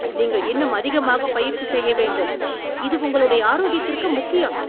நீங்கள் இன்னும் அதிகமாகப் பயிற்சி செய்ய வேண்டும், இது உங்களுடைய ஆரோக்கியத்திற்கு முக்கியம்!